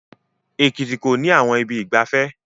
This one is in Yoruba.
Ekiti kò ní àwọn ibi ìgbafẹ́